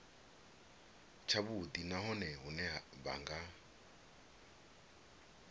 tshavhudi nahone hune vha nga